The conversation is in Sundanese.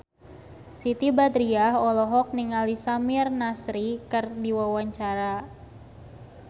Siti Badriah olohok ningali Samir Nasri keur diwawancara